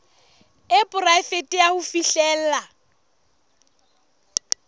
e poraefete ya ho fihlella